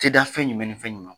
Ti da fɛn jumɛn nin fɛn jumɛn ma ?